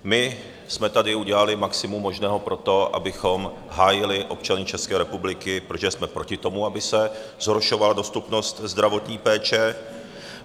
My jsme tady udělali maximum možného pro to, abychom hájili občany České republiky, protože jsme proti tomu, aby se zhoršovala dostupnost zdravotní péče.